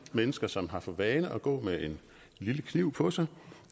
mennesker som har for vane at gå med en lille kniv på sig